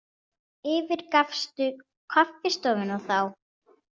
Yfirgafstu kaffistofuna þá?